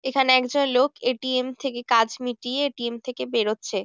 এখানে একজন লোক এ.টি.এম থেকে কাজ মিটিয়ে এ.টি.এম থেকে বেরোচ্ছে ।